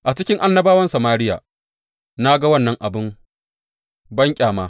A cikin annabawan Samariya na ga wannan abin banƙyama.